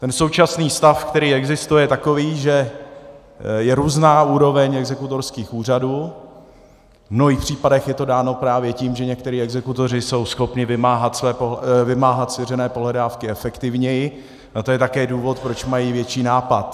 Ten současný stav, který existuje, je takový, že je různá úroveň exekutorských úřadů, v mnohých případech je to dáno právě tím, že někteří exekutoři jsou schopni vymáhat svěřené pohledávky efektivněji, a to je také důvod, proč mají větší nápad.